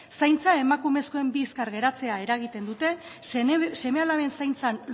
zaintza emakumezkoen bizkar geratzea eragiten dute seme alaben zaintzan